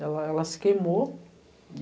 Ela, ela se queimou e...